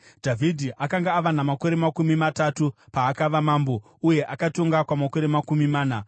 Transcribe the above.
Dhavhidhi akanga ava namakore makumi matatu paakava mambo, uye akatonga kwamakore makumi mana.